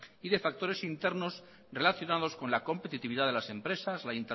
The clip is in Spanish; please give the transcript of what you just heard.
y de factores internos relacionados con la competitividad de las empresas la